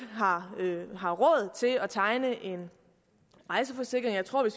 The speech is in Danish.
har råd til at tegne en rejseforsikring så tror jeg